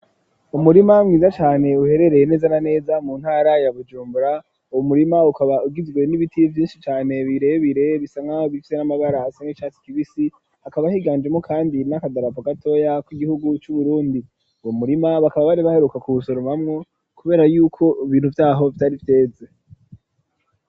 Umurima mwiza cane uherereye neza na neza mu ntarayabujumbura, ubu murima ukaba ugizwe n'ibitiy vyinshi cane bire bire bisana bivye n'amagarahase n'icatsi kibisi hakaba ahiganjemo, kandi n'akadarapo gatoya ko'igihugu c'uburundi wu murima bakaba bari baheruka ku busorumamwo, kubera yuko ibintu vyaho vyari vyeze.